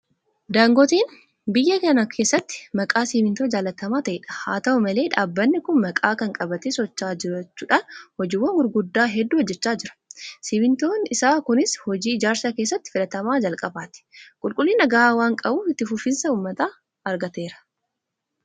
Daangoteen biyya kana keessatti maqaa simmintoo jaalatamaa ta'edha. Haata'u malee dhaabbanni kun maqaa kana qabatee socho'aa jiraachuudhaan hojiiwwan gurguggaa hedduu hojjechaa jira. Simmintoon isaa kunis hojii ijaarsaa keessatti filatamaa jalqabaati. Qulqullina gahaa waanqabuuf itti quufinsa uummataa argateera.